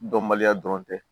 Dɔnbaliya dɔrɔn tɛ